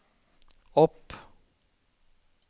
opp